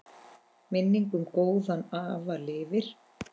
Minning um góðan afa lifir.